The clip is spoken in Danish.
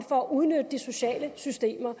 for at udnytte de sociale systemer